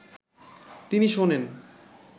তিনি শোনেন